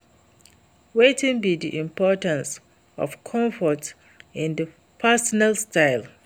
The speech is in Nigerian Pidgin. wetin be di importance of comfort in di personal style?